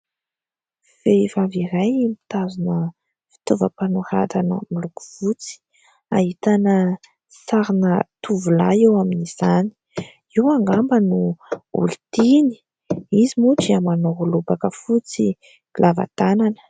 Vehivavy iray mitazona fitaovam-panoratana miloko fotsy, ahitana sarina tovolahy eo amin'izany, io angamba no olon-tiany. Izy moa dia manao lobaka fotsy lava tanana.